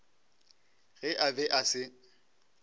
ge a be a se